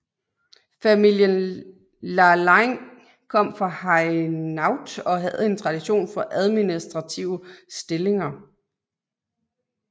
Familien Lalaing kom fra Hainaut og havde en tradition for administrative stillinger